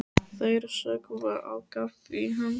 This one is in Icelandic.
Þær sökkva á kaf í hans.